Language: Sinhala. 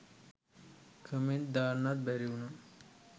කමේන්ට් දාන්නත් බැරිවුනා